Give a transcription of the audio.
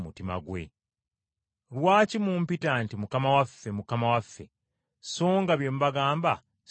“Lwaki mumpita nti, ‘Mukama waffe, Mukama waffe,’ so nga bye mbagamba si bye mukola?